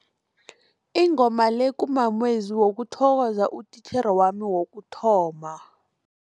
Ingoma le kumamezwi wokuthokoza utitjhere wami wokuthoma.